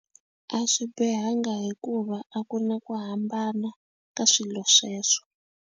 A swi bihanga hikuva a ku na ku hambana ka swilo sweswo.